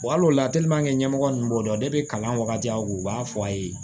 ɲɛmɔgɔ ninnu b'o dɔn kalan wagati u b'a fɔ a ye